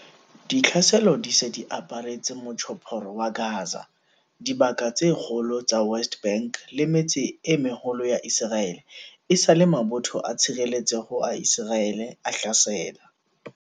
Ditlhaselo di se di aparetse Motjhophoro wa Gaza, dibaka tse kgolo tsa West Bank le metse e meholo ya Iseraele esale mabotho a tshireletseho a Iseraele a hlasela